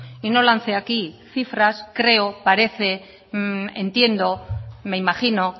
y no lance aquí cifras creo parece entiendo me imagino